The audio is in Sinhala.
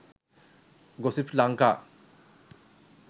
gossip lanka